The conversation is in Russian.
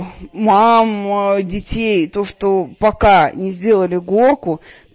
мам детей то что пока не сделали горку